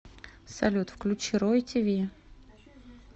салют включи рой ти ви